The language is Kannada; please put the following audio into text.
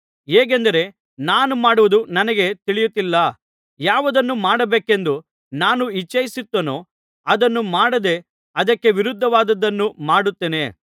ಹೇಗೆಂದರೆ ನಾನು ಮಾಡುವುದು ನನಗೇ ತಿಳಿಯುತ್ತಿಲ್ಲ ಯಾವುದನ್ನು ಮಾಡಬೇಕೆಂದು ನಾನು ಇಚ್ಚಿಸುತ್ತೇನೋ ಅದನ್ನು ಮಾಡದೇ ಅದಕ್ಕೆ ವಿರುದ್ಧವಾದದ್ದನ್ನು ಮಾಡುತ್ತೇನೆ